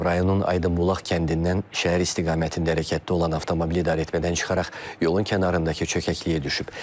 Rayonun Aydınbulaq kəndindən şəhər istiqamətində hərəkətdə olan avtomobil idarəetmədən çıxaraq yolun kənarındakı çökəkliyə düşüb.